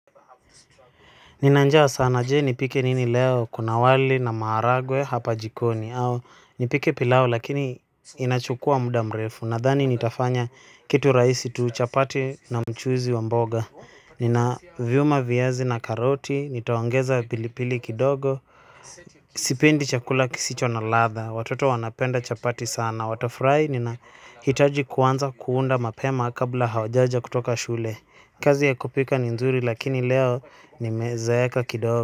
Nina njaa sana. Je, nipike nini leo? Kuna wali na maharagwe hapa jikoni. Au nipike pilau, lakini inachukua muda mrefu. Nadhani nitafanya kitu rahisi tu, chapati na mchuzi wa mboga. Ninaviuma viazi na karoti. Nitaongeza pilipili kidogo. Sipendi chakula kisicho na ladha. Watoto wanapenda chapati sana, watafurahi. Ninahitaji kuanza kuunda mapema kabla hawajaja kutoka shule. Kazi ya kupika ni nzuri lakini leo nimezeeka kidogo.